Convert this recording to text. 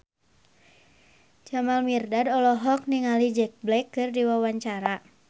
Jamal Mirdad olohok ningali Jack Black keur diwawancara